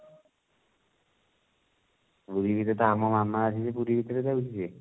ପୁରୀ ଭିତରେ ତ ଆମ ମାମା ଅଛି ସେଇ ପୁରୀ ଭିତରେ ଦଉଛି ସେ